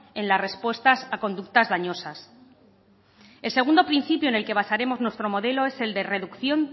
en las respuestas a conductas dañosas el segundo principio en el que basaremos nuestro modelo es el de reducción